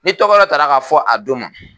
Ni tɔgɔ dɔ tara ka fɔ a don ma